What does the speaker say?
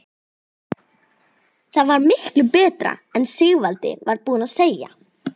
Það var miklu betra en Sigvaldi var búinn að segja.